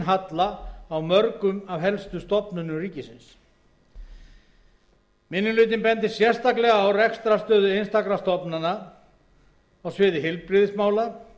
halla á mörgum af helstu stofnunum ríkisins minni hlutinn bendir sérstaklega á rekstrarstöðu einstakra stofnana á sviði heilbrigðismála